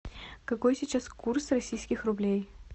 какой сейчас курс российских рублей